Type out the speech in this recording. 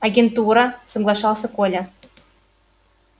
агентура соглашался коля